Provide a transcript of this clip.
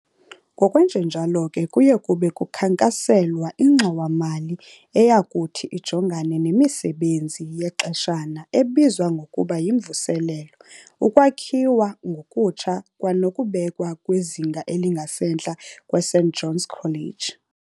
Ngokwenjenjalo ke kuyabe kukhankaselwa ingxowa mali eyakuthi ijongane nemisebenzi yexeshana ebizwa ngokuba yyimvuselelo, ukwakhiwa ngokutsha kwanokubekwa kwizinga elingasentla kweSt John's College.